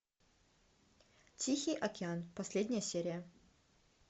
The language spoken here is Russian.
тихий океан последняя серия